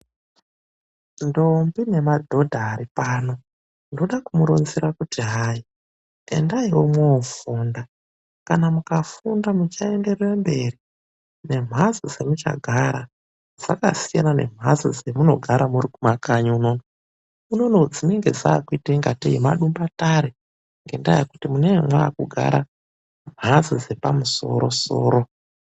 Ndombi nemadhodha aripano ,ndode kumuronzere kuti endai mwofunda .Kana mukafunda muchaenderere mberi nemhatso dzemunogara dzakasiyana nedzemunogara muri kumakanyi unodzinenge dzakuite ungatei madumbatare ngendaa yekuti munee mwogara mumhatso dzepadenga.